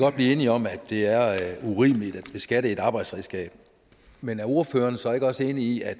godt blive enige om at det er urimeligt at beskatte et arbejdsredskab men er ordføreren så ikke også enig i at